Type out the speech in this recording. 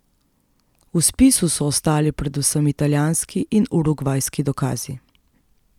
V spisu so ostali predvsem italijanski in urugvajski dokazi.